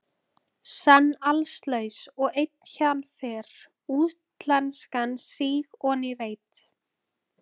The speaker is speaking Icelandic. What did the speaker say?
Senn allslaus og einn héðan fer, útlenskan síg oní reit.